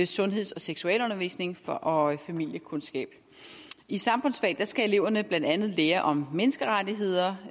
sundheds og seksualundervisning og og familiekundskab i samfundsfag skal eleverne blandt andet lære om menneskerettigheder